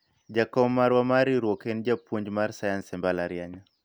jakom marwa mar riwruok en japuonj mar sayans e mbalariany